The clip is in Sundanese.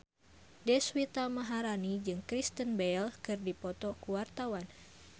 Deswita Maharani jeung Kristen Bell keur dipoto ku wartawan